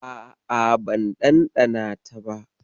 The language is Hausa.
A'a, ban ɗanɗana ta ba